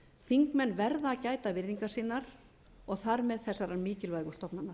þingmenn verða að gæta virðingar sinnar og þar með þessarar mikilvægu stofnunar